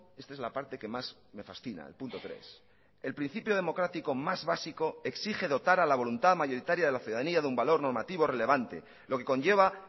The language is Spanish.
esta es la parte que más me fascina el punto tres el principio democrático más básico exige dotar a la voluntad mayoritaria de la ciudadanía de un valor normativo relevante lo que conlleva